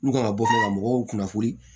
N'u ka bɔtɔ ka mɔgɔw kunnafoni